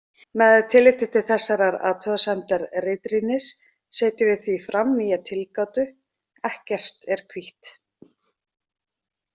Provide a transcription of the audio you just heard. Með tilliti til þessarar athugasemdar ritrýnis setjum við því fram nýja tilgátu: ekkert er hvítt.